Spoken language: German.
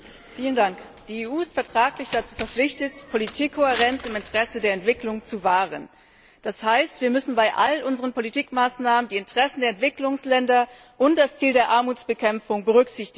Frau Präsidentin! Die EU ist vertraglich verpflichtet, Politikkohärenz im Interesse der Entwicklung zu wahren. Das heißt, wir müssen bei all unseren politischen Maßnahmen die Interessen der Entwicklungsländer und das Ziel der Armutsbekämpfung berücksichtigen.